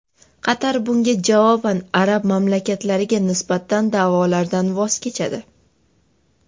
Qatar bunga javoban arab mamlakatlariga nisbatan da’volardan voz kechadi.